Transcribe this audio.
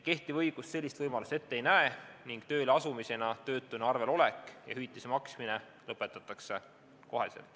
Kehtiv õigus sellist võimalust ette ei näe ning tööle asumisel töötuna arvel olek ja hüvitise maksmine lõpetatakse kohe.